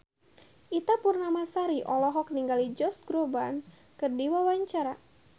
Ita Purnamasari olohok ningali Josh Groban keur diwawancara